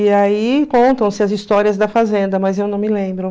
E aí contam-se as histórias da fazenda, mas eu não me lembro.